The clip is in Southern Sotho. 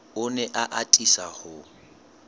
o ne a atisa ho